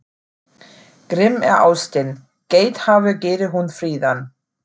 Grimm er ástin, geithafur gerir hún fríðan.